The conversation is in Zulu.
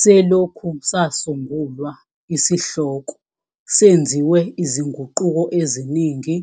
Selokhu sasungulwa, isihloko senziwe izinguquko eziningi